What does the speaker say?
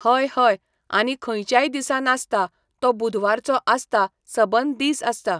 हय हय आनी खंयच्याय दिसा नासता तो बुधवाराचो आसता सबंद दीस आसता